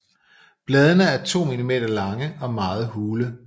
Bladene er 2 mm lange og meget hule